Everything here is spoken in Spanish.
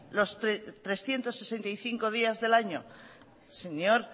los trescientos sesenta y cinco días del año señor